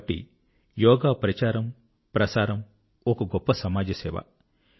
కాబట్టి యోగా ప్రచారముప్రసారము ఒక గొప్ప సమాజసేవ